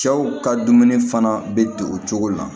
Cɛw ka dumuni fana be don o cogo la